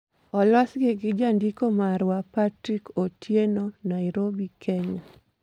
Olosi gi Jandiko marwa, Patrick Otieno, Nairobi, Kenya